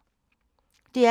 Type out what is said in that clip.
DR P2